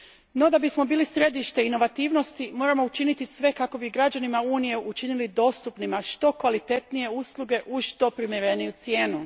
No, da bismo bili središte inovativnosti, moramo učiniti sve kako bi građanima Unije učinili dostupnima što kvalitetnije usluge uz što primjereniju cijenu.